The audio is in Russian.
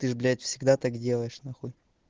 ты же блять всегда так делаешь нахуй